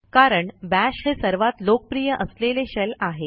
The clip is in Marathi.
कारण बाश हे सर्वात लोकप्रिय असलेले शेल आहे